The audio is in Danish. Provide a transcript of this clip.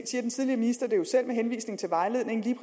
den tidligere minister